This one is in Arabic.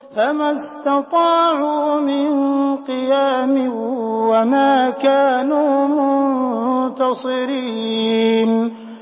فَمَا اسْتَطَاعُوا مِن قِيَامٍ وَمَا كَانُوا مُنتَصِرِينَ